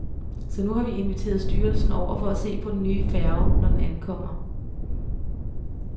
Så nu har vi inviteret styrelsen over for at se på den nye færge, når den ankommer.